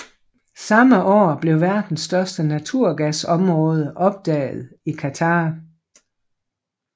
Samme år blev verdens største naturgasområde opdaget i Qatar